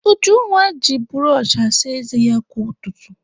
Ujunwa ji bụrọchị asa ézé ya kwa ụtụtụ.